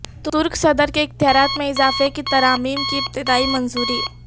ترک صدر کے اختیارات میں اضافے کی ترامیم کی ابتدائی منظوری